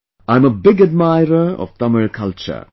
'I am a big admirer of Tamil culture